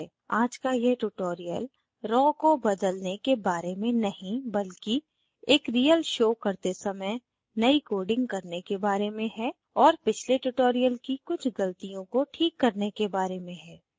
आज का यह tutorial raw को बदलने के बारे में नहीं बल्कि एक real show करते समय नयी coding करने के बारे में है और पिछले tutorial की कुछ गलतियों को ठीक करने के बारे में है